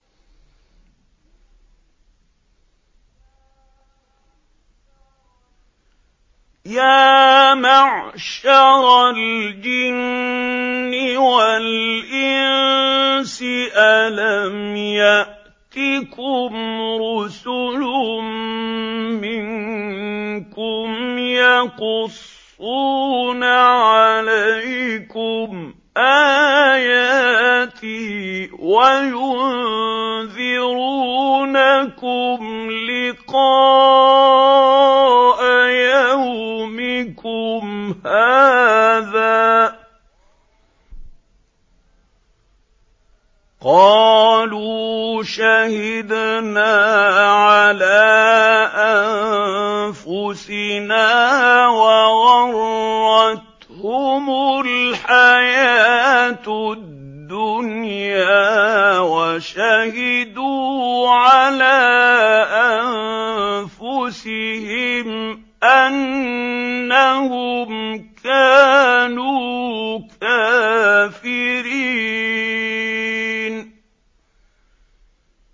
يَا مَعْشَرَ الْجِنِّ وَالْإِنسِ أَلَمْ يَأْتِكُمْ رُسُلٌ مِّنكُمْ يَقُصُّونَ عَلَيْكُمْ آيَاتِي وَيُنذِرُونَكُمْ لِقَاءَ يَوْمِكُمْ هَٰذَا ۚ قَالُوا شَهِدْنَا عَلَىٰ أَنفُسِنَا ۖ وَغَرَّتْهُمُ الْحَيَاةُ الدُّنْيَا وَشَهِدُوا عَلَىٰ أَنفُسِهِمْ أَنَّهُمْ كَانُوا كَافِرِينَ